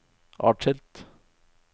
atskilt